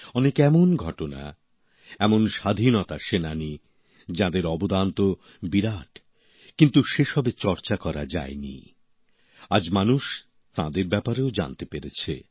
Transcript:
অনেক এমন ঘটনা এমন স্বাধীনতা সেনানী যাঁদের অবদান তো বিরাট কিন্তু সেসবের চর্চা করা যায় নি আজ মানুষ তাঁদের ব্যাপারেও জানতে পারছে